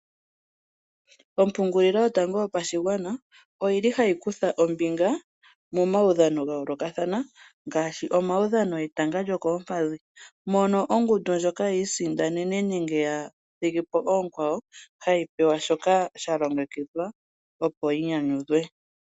Ompungulilo yotango yopashigwana oyili hayi kutha ombinga momaudhano ga yoolokathana ngaashi omaudhano getanga lyokoompadhi mono ongundu ndjoka yiisindanene nenge ya thigipo oonkwawo hayi pewa shoka sha longekidhwa opo yi nyanyudhwe.